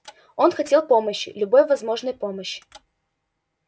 он хотел помощи любой возможной помощи